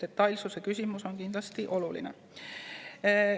Detailsuse küsimus on väga oluline.